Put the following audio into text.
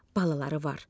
Balaları var.